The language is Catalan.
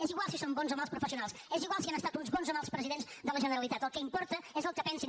és igual si són bons o mals professionals és igual si han estat uns bons o mals presidents de la generalitat el que importa és el que pensin